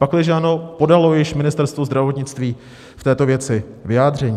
Pakliže ano, podalo již Ministerstvo zdravotnictví v této věci vyjádření?